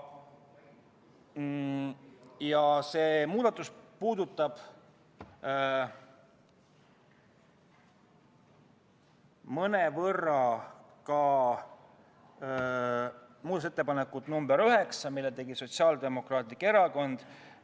Muudatus nr 8 puudutab mõnevõrra ka muudatusettepanekut nr 9, mille tegi Sotsiaaldemokraatlik Erakond.